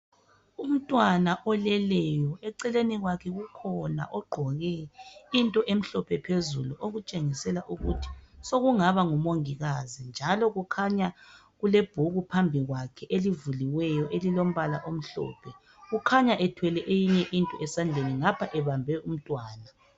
Umntwana oleleyo eceleni kwakhe kukhona ogqoke into emhlophe phezulu okutshengisela ukuthi sokungaba ngumongikazi . Njalo kukhanya kule bhuku phambi kwakhe elivuliweyo elilombala omhlophe .Kukhanya ethwele eyinye into esandleni ngapha ebambe umntwana .